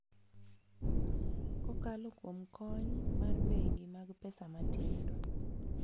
Kokalo kuom kony mar bengi mag pesa matindo.